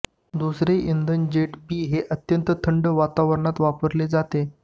दुसरे इंधन jet B हे अत्यंत थंड वातावरणात वापरले जाते